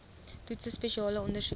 toetse spesiale ondersoeke